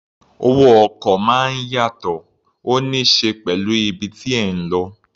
Owó ọkọ̀ máa ń yàtọ̀, ó ní ṣe pẹ̀lú ibi tí ẹ̀ ń lọ.